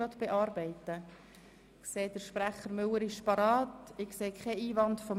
Ich sehe keine Einwände, wir steigen also in die Beratung von Traktandum 36.